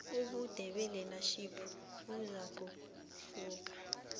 ubude belearnership buzakuhluka